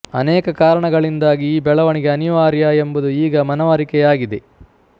ಅನೇಕ ಕಾರಣಗಳಿಂದಾಗಿ ಈ ಬೆಳೆವಣಿಗೆ ಅನಿವಾರ್ಯ ಎಂಬುದು ಈಗ ಮನವರಿಕೆಯಾಗಿದೆ